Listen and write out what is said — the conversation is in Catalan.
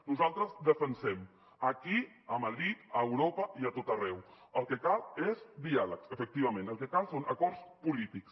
nosaltres defensem aquí a madrid a europa i a tot arreu el que cal és diàleg efectivament el que cal són acords polítics